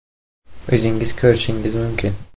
O‘zingiz ko‘rishingiz mumkin.